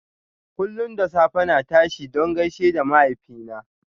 Kullum da safe na tashi don gaishe da mahaifina.